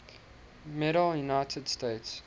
medal united states